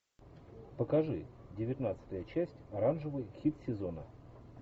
покажи девятнадцатая часть оранжевый хит сезона